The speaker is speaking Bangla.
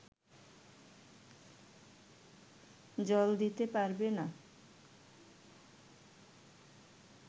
জল দিতে পারবে না